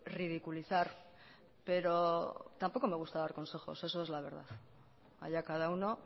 ridiculizar pero tampoco me gusta dar consejos esa es la verdad allá cada uno